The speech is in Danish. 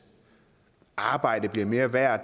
arbejde bliver mere værd og